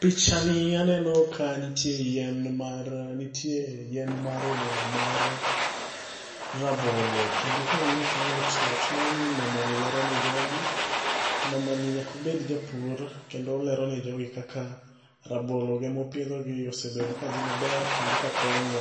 picha ni aneno ka nitie yien mar nitie yien mar olemo mar rabolo. Kendo ka ang'iyo kanyo to chalo ni mamani lero ne jogi, mamani nyaka obed ja pur kendo oler ne jogi kaka rabolone mopidhoni osebet kadhi maber kendo ka konye.